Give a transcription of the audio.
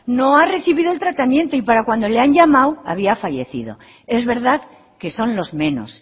no ha recibido el tratamiento y para cuando le han llamado había fallecido es verdad que son los menos